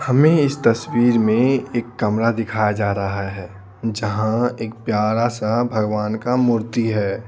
हमें इस तस्वीर में एक कमरा दिखाया जा रहा है जहां एक प्यारा सा भगवान का मूर्ति है।